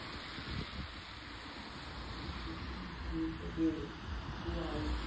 Bem difícil para mim, para mim poder criar eles.